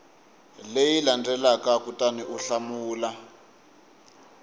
leyi landzelaka kutani u hlamula